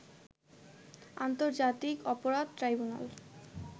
আন্তর্জাতিক অপরাধ ট্রাইব্যুনাল